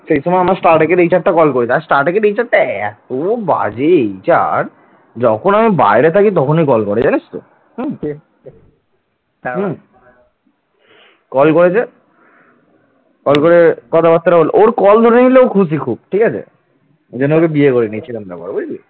call করে কথাবার্তা হল ওর call ধরে নিলে খুব খুশি ঠিক আছেএই জন্য ওকে বিয়ে করে নিচ্ছিলাম না বুঝলি